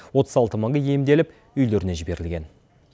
отыз алты мыңы емделіп үйлеріне жіберілген